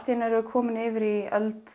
einu erum við komin yfir í öld